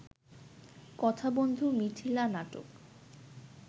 কথা বন্ধু মিথিলা নাটক